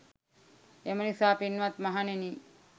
එම නිසා පින්වත් මහණෙනි